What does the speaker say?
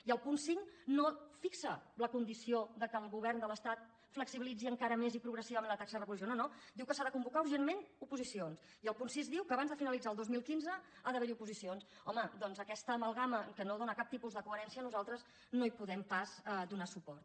i el punt cinc no fixa la condició que el govern de l’estat flexibilitzi encara més i progressivament la taxa de reposició no no diu que s’ha de convocar urgentment oposicions i el punt sis diu que abans de finalitzar el dos mil quinze ha d’haver hi oposicions home doncs a aquesta amalgama que no dóna cap tipus de coherència nosaltres no hi podem pas donar suport